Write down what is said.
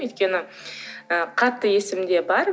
өйткені ы қатты есімде бар